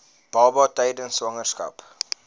baba tydens swangerskap